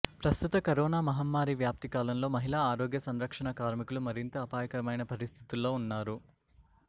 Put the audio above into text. ప్రస్తుత కరోనా మహమ్మారి వ్యాప్తి కాలంలో మహిళా ఆరోగ్య సంరక్షణా కార్మికులు మరింత అపాయకరమైన పరిస్థితుల్లో ఉన్నారు